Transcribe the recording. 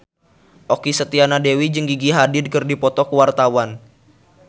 Okky Setiana Dewi jeung Gigi Hadid keur dipoto ku wartawan